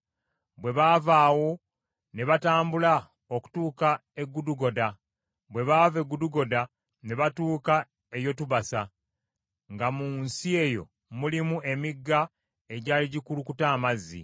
Bwe baava awo ne batambula okutuuka e Gudugoda; bwe baava e Gudugoda ne batuuka e Yotubasa, nga mu nsi eyo mulimu emigga egyali gikulukuta amazzi.